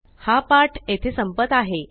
हा पाठ येथे संपत आहे